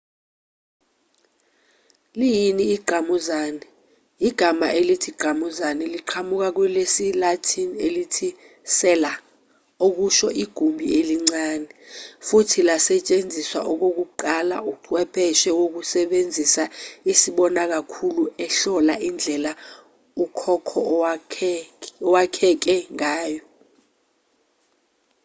liyini ingqamuzane igama elithi ingqamuzane liqhamuka kwelesi-latin elithi cella okusho igumbi elincane futhi lasetshenziswa okokuqala uchwepheshe wokusebenzisa isibonakhulu ehlola indlela ukhokho owakheke ngayo